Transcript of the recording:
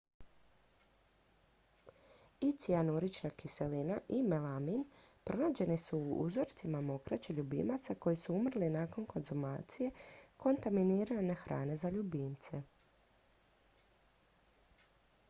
i cijanurična kiselina i melamin pronađeni su u uzorcima mokraće ljubimaca koji su umrli nakon konzumacije kontaminirane hrane za ljubimce